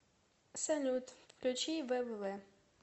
салют включи ввв